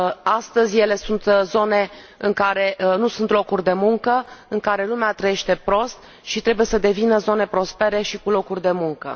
Astăzi, ele sunt zone în care nu sunt locuri de muncă, în care lumea trăiește prost, însă trebuie să devină zone prospere și cu locuri de muncă.